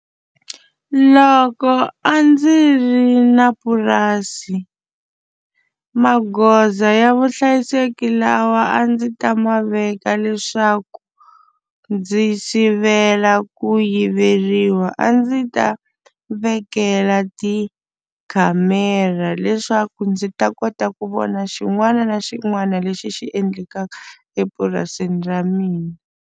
Loko a ndzi ri na purasi magoza ya vuhlayiseki lawa a ndzi ta ma veka leswaku ndzi sivela ku yiveriwa a ndzi ta vekela tikhamera leswaku ndzi ta kota ku vona xin'wana na xin'wana lexi xi endlekaka epurasini ra mina.